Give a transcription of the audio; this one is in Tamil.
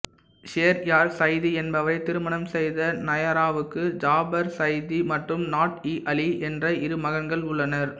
ஷேர்யார் சைதி என்பவரைத் திருமணம் செய்த நயாராவுக்கு ஜாபர் சைதி மற்றும் நாட்இஅலி என்ற இரு மகன்கள் உள்ளனர்